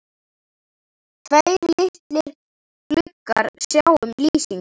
Tveir litlir gluggar sjá um lýsingu